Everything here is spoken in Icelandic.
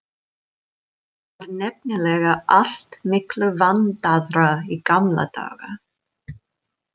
Það var nefnilega allt miklu vandaðra í gamla daga.